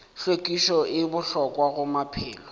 hlwekišo e bohlokwa go maphelo